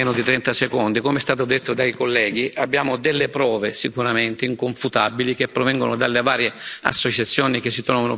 Come è stato detto dai colleghi, abbiamo delle prove sicuramente inconfutabili che provengono dalle varie associazioni che si trovano presenti in quella zona.